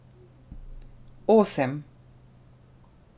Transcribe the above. Osem.